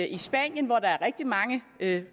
i spanien hvor der er rigtig mange